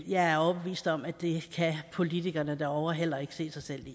jeg er overbevist om at det kan politikerne derovre heller ikke se sig selv